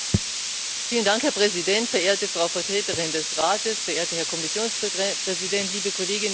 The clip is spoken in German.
Herr Präsident, verehrte Frau Vertreterin des Rates, verehrter Herr Kommissionspräsident, liebe Kolleginnen, liebe Kollegen!